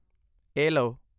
ਇਹ ਲਓ!